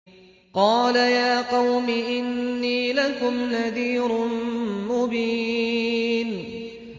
قَالَ يَا قَوْمِ إِنِّي لَكُمْ نَذِيرٌ مُّبِينٌ